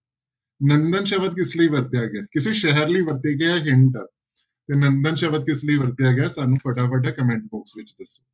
ਨੰਦਨ ਸ਼ਬਦ ਕਿਸ ਲਈ ਵਰਤਿਆ ਗਿਆ ਹੈ ਕਿਸੇ ਸ਼ਹਿਰ ਲਈ ਵਰਤਿਆ ਗਿਆ ਤੇ ਨੰਦਨ ਸ਼ਬਦ ਕਿਸ ਲਈ ਵਰਤਿਆ ਗਿਆ ਸਾਨੂੰ ਫਟਾਫਟ comment box ਵਿੱਚ